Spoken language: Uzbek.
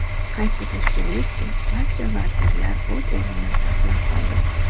Qayd etish joizki, barcha vazirlar o‘z o‘rnini saqlab qoldi.